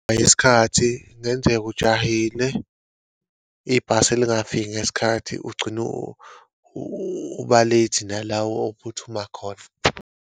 Eyesikhathi, kungenzeka ujahile. Ibhasi lingafiki ngesikhathi, ugcine uba-late nala ophuthumayo khona.